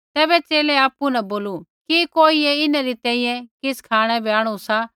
तैबै च़ेले आपु न बोलू कि कोइयै इन्हरी तैंईंयैं किछ़ खाँणै बै आंणु सा